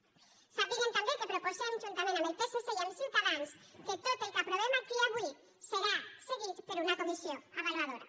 sàpiguen també que proposem juntament amb el psc i amb ciutadans que tot el que aprovem aquí avui siga seguit per una comissió avaluadora